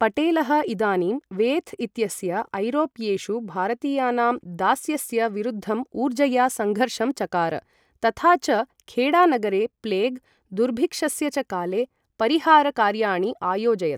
पटेलः इदानीं वेथ् इत्यस्य, ऐरोप्येषु भारतीयानां दास्यस्य, विरुद्धं ऊर्जया सङ्घर्षं चकार, तथा च खेडानगरे प्लेग्, दुर्भिक्षस्य च काले परिहार कार्याणि आयोजयत्।